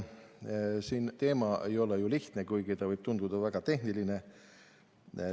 See teema ei ole ju lihtne, kuigi ta võib tunduda väga tehniline.